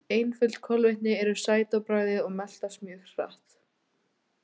Einföld kolvetni eru sæt á bragðið og meltast mjög hratt.